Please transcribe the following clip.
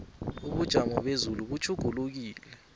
ubujamo bezulu butjhugulukile